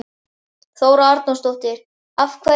Þóra Arnórsdóttir: Af hverju?